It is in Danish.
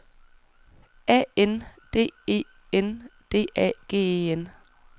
A N D E N D A G E N